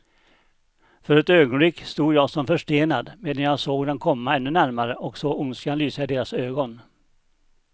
För ett ögonblick stod jag som förstenad, medan jag såg dem komma ännu närmare och såg ondskan lysa i deras ögon.